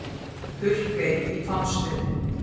Purkey í Hvammsfirði.